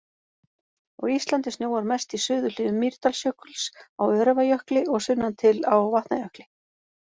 Á Íslandi snjóar mest í suðurhlíðum Mýrdalsjökuls, á Öræfajökli og sunnan til á Vatnajökli.